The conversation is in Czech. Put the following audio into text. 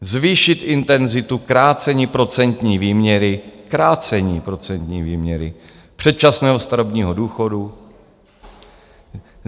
- zvýšit intenzitu krácení procentní výměry - krácení procentní výměry - předčasného starobního důchodu;